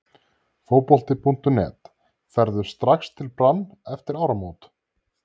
Fótbolti.net: Ferðu strax til Brann eftir áramót??